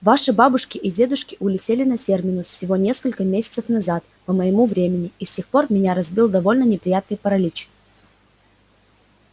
ваши бабушки и дедушки улетели на терминус всего несколько месяцев назад по моему времени и с тех пор меня разбил довольно неприятный паралич